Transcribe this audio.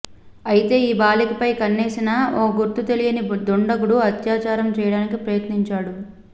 అయితే ఈ బాలికపై కన్నేసిన ఓ గుర్తుతెలియని దుండగుడు అత్యాచారం చేయడానికి ప్రయత్నించాడు